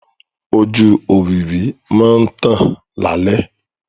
Ojú òwìwí máa ń tàn lálẹ́.